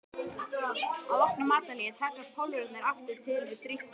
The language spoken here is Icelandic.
Að loknu matarhléi taka Pólverjarnir aftur til við drykkju.